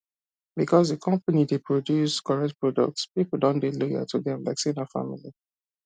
because the company dey produce correct product people don dey loyal to them like say na family